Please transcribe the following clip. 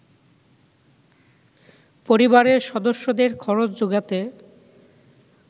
পরিবারের সদস্যদের খরচ যোগাতে